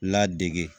Ladege